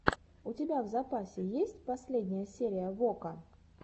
у тебя в запасе есть последняя серия вока